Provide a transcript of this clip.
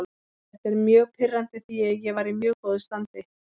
Þetta er mjög pirrandi því ég var í mjög góðu standi.